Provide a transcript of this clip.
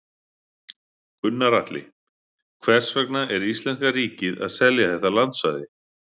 Gunnar Atli: Hvers vegna er íslenska ríkið að selja þetta landsvæði?